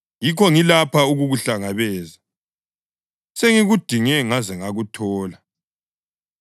Yikho ngilapha ukukuhlangabeza; sengikudinge ngaze ngakuthola!